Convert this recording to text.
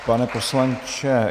Pane poslanče...